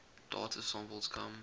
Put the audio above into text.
data samples come